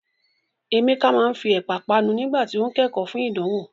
Emeka máa ń fi Ẹ̀pà panu nígbà tí ó ń kẹ́kọ̀ọ́ fún ìdánwò.